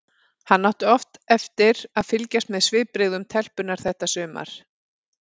Hann átti oft eftir að fylgjast með svipbrigðum telpunnar þetta sumar.